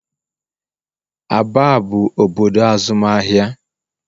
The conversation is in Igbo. Aba bụ obodo azụmahịa.